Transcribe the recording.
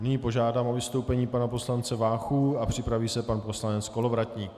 Nyní požádám o vystoupení pana poslance Váchu a připraví se pan poslanec Kolovratník.